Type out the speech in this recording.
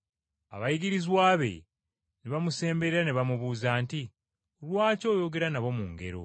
Abayigirizwa be ne bamusemberera ne bamubuuza nti, “Lwaki oyogera nabo mu ngero?”